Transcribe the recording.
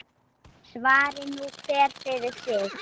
Svari nú hver fyrir sig.